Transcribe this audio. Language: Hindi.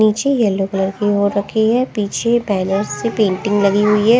नीचे येलो कलर की हो रखी है पीछे बैनर्स से पेंटिंग लगी हुई है।